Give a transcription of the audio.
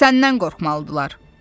Səndən qorxmalıdılar.